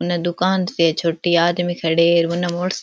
उनने दुकान से छोटी आदमी खड़े है उनने --